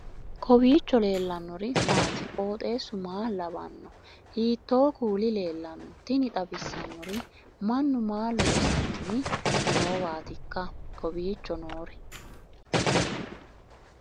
kowiicho leellannori maati ? qooxeessu maa lawaanno ? hiitoo kuuli leellanno ? tini xawissannori mannu maa loossanni noowatikka kowiicho noori